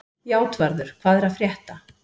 Játvarður, hvað er að frétta?